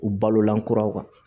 U balolan kuraw kan